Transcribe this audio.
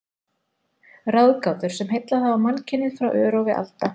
Ráðgátur, sem heillað hafa mannkynið frá örófi alda.